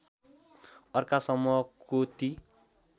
अर्का समूहको ती